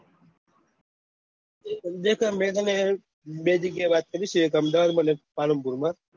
દેખો મેં મને બે જગ્યા વાત કરી છે એક અમદાવાદ માં અને પાલનપુર માં